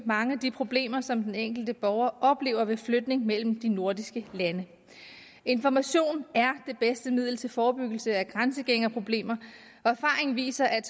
mange af de problemer som den enkelte borger oplever i forbindelse med flytning mellem de nordiske lande information er det bedste middel til forebyggelse af grænsegængerproblemer og erfaringen viser at